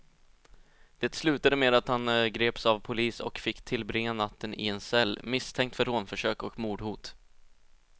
Det slutade med att han greps av polis och fick tillbringa natten i en cell, misstänkt för rånförsök och mordhot.